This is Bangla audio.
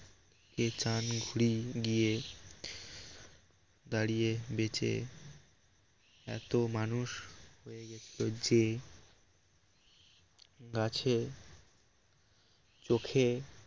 ঘুড়ি গিয়ে দাঁড়িয়ে বেচে এত মানুষ হয়ে গেল যে গাছে চোখে